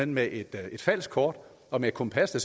med et falsk kort og med et kompas der